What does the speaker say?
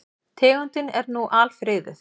Tegundin er nú alfriðuð.